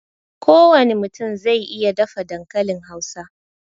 Ko wane mutum zai iya dafa dankalin Hausa